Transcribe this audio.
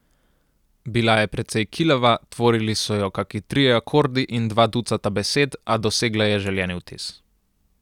Bila je precej kilava, tvorili so jo kaki trije akordi in dva ducata besed, a dosegla je želeni vtis.